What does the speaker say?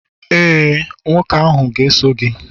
ee, nwoke ahụ ga-eso gị.